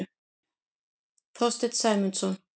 Þorstein Sæmundsson.